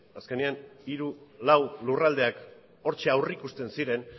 azkenean hiru lau lurraldeak hortxe aurrikusten ziren